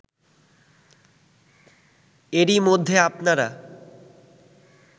এরই মধ্যে আপনারা